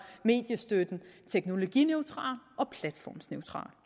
mediestøtten teknologineutral og platformsneutral